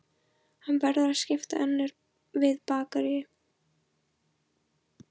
Hann verður að skipta við önnur bakarí.